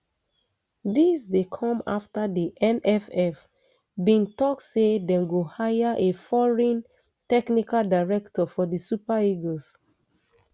dis um dey come afta di nff bin tok say dem go hire a foreign technical director for di super eagles